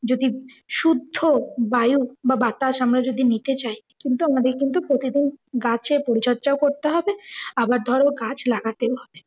যদি শুদ্ধ বায়ু বা বাতাস আমরা যদি নিতে চাই কিন্তু আমাদের কিন্তু প্রতিদিন গাছের পরিচর্যাও করতে হবে আবার ধরো গাছ লাগাতেও হবে।